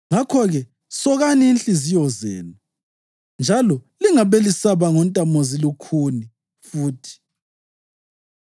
Ngakho-ke, sokani inhliziyo zenu, njalo lingabe lisaba ngontamozilukhuni futhi.